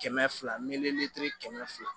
Kɛmɛ fila miliyɔnti kɛmɛ fila